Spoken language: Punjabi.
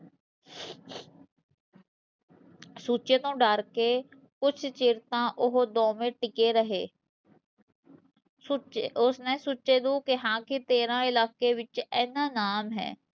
ਸੁੱਚੇ ਤੋਂ ਡਰ ਕੇ, ਕੁਛ ਚਿਰ ਤਾਂ ਉਹ ਦੋਵੇ ਟਿਕੇ ਰਹੇ ਸੁੱਚੇ ਉਸਨੇ ਸੁੱਚੇ ਨੂੰ ਕਿਹਾ ਕਿ ਤੇਰਾ ਇਲਾਕੇ ਵਿਚ ਏਨਾਂ ਤੇਰਾ ਨਾਮ ਹੈ